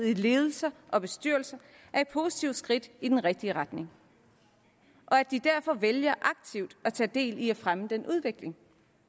i ledelser og bestyrelser er et positivt skridt i den rigtige retning og at de derfor vælger aktivt at tage del i at fremme den udvikling